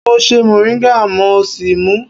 Mo ṣe mọ̀ríńgà mo sì mú ú.